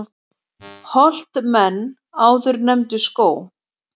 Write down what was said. Holt menn áður nefndu skóg.